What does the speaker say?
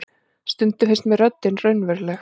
Stundum finnst mér röddin raunveruleg.